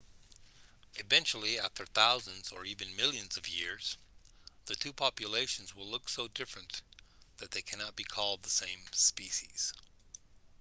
eventually after thousands or even millions of years the two populations will look so different that they can't be called the same species